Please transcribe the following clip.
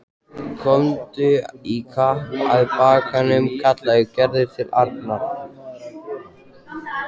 Komdu í kapp að bakkanum kallaði Gerður til Arnar.